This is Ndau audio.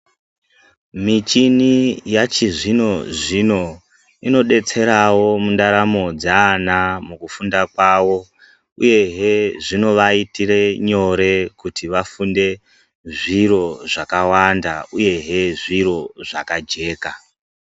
Mwichini yachizvino zvino inobetserawo mundaramo dzaana mukufunda kwavo uyehe zvinovaitire nyore kuti vafunde zviro zvakawanda uyehe zviro zvakajeka.